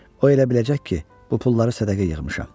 O elə biləcək ki, bu pulları sədəqə yığmışam.